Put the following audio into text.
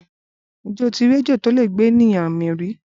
Ǹjẹ́ o ti rí ejò tó lè gbé ènìyàn mì rí?